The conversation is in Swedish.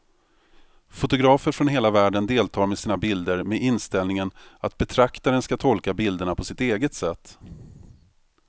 Fotografer från hela världen deltar med sina bilder med inställningen att betraktaren ska tolka bilderna på sitt eget sätt.